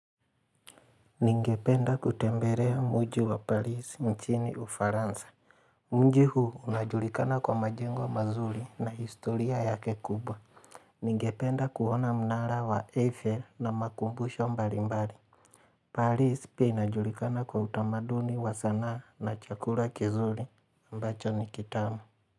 Ningependa kutembelea mji wa Paris mchini uFaransa. Mji huu unajulikana kwa majengo mazuri na historia yake kubwa. Ningependa kuona mnara wa Eiffel na makumbusho mbali mbali. Paris pia inajulikana kwa utamaduni wa sanaa na chakura kizuri ambacho ni kitamu.